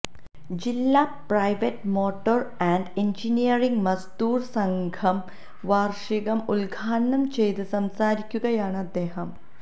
ജില്ലാ private motor and engineering Mazdoor Sangh വാര്ഷികം ഉദ്ഘാടനം ചെയ്തു സംസാരിക്കുകയാണ് അദ്ദേഹം